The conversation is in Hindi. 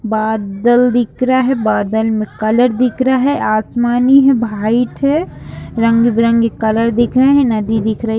बादल दिख रहा है बादल में कलर दिख रहा है आसमानी है वाइट है रंग बिरंगे कलर दिख रहे हैं नदी दिख रही है।